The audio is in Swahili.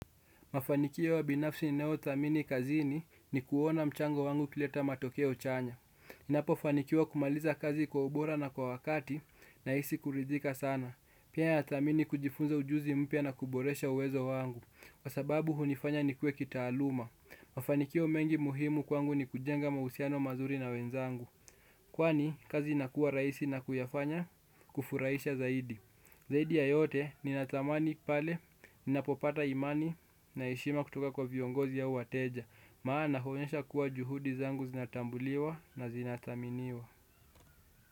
Mafanikio ya binafsi ninayo thamini kazini ni kuona mchango wangu ukileta matokeo chanya. Ninapofanikiwa kumaliza kazi kwa ubora na kwa wakati nahisi kuridhika sana. Pia natamani kujifunza ujuzi mpya na kuboresha uwezo wangu. Kwa sababu hunifanya nikue kitaaluma. Mafanikio mengi muhimu kwangu ni kujenga mahusiano mazuri na wenzangu. Kwani, kazi inakua rahisi na kuyafanya kufuraisha zaidi. Zaidi ya yote, ninatamani pale, ninapopata imani na heshima kutoka kwa viongozi au wateja. Maana huonyesha kuwa juhudi zangu zinatambuliwa na zinathaminiwa.